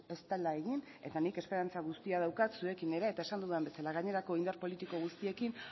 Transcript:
ez dela egin eta nik esperantza guztia daukat zuekin ere eta esan dudan bezala gainerako indar politiko guztiekin